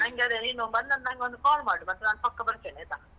ನಂಗದೇ ನೀನು ಬಂದ್ಮೇಲ್ ನಂಗೊಂದು call ಮಾಡು. ಮತ್ತೆ ನಾನ್ ಪಕ್ಕ ಬರ್ತೇನೆ, ಆಯ್ತಾ?